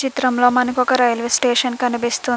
చిత్రంలో మనకి ఒక రైల్వే స్టేషన్ కనిపిస్తుంది.